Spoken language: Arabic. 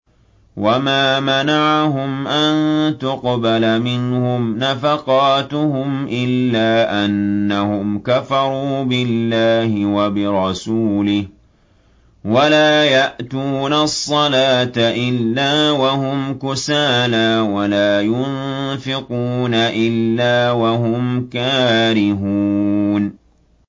وَمَا مَنَعَهُمْ أَن تُقْبَلَ مِنْهُمْ نَفَقَاتُهُمْ إِلَّا أَنَّهُمْ كَفَرُوا بِاللَّهِ وَبِرَسُولِهِ وَلَا يَأْتُونَ الصَّلَاةَ إِلَّا وَهُمْ كُسَالَىٰ وَلَا يُنفِقُونَ إِلَّا وَهُمْ كَارِهُونَ